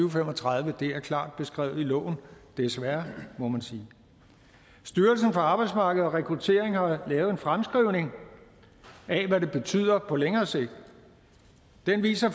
og fem og tredive det er klart beskrevet i loven desværre må man sige styrelsen for arbejdsmarked og rekruttering har lavet en fremskrivning af hvad det betyder på længere sigt den viser